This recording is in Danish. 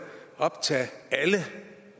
optage alle